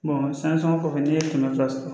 san sɔngɔ kɔfɛ n'i ye kɛmɛ fila sɔrɔ